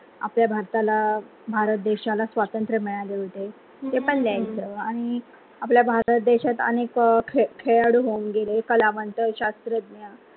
आपल्या भारताला भारत देशाला स्वतंत्र मिळाळ होते. ते पण लिहायच आणि आपल्या भारत देशात अनेक खेळाडू होऊन गेले कलावंत शास्त्रज्ञ